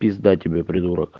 пизда тебе придурок